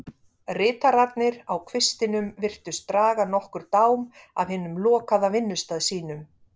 Ritararnir á kvistinum virtust draga nokkurn dám af hinum lokaða vinnustað sínum.